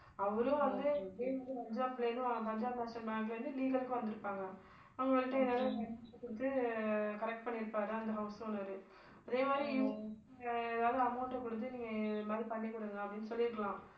அவரும் வந்து இதே மாதிரி பஞ்சாப்லேருந்து ஆஹ் பஞ்சாப் நேஷ்னல் பேங்க்ல இருந்து legal க்கு வந்திருப்பாங்க. அவங்கள்ட்ட ஏதாவது குடுத்து correct பண்ணிருப்பாரு அந்த house owner உ. அதே மாதிரி இவங்க ஏதாவது amount குடுத்து நீங்க இது மாதிரி பண்ணிக்குடுங்க அப்படின்னு சொல்லியிருக்கலாம்